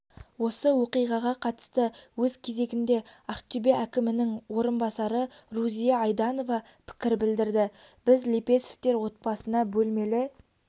осы оқиғаға қатысты өз кезегінде ақтөбе әкімінің орынбасары рузия айданова пікір білдірді біз лепесовтер отбасына бөлмелі